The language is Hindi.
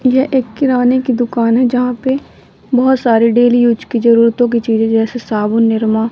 ये एक किराने की दुकान है जहां पे बहोत सारे डेली यूज की जरूरतों की चीजें जैसे साबुन निरमा--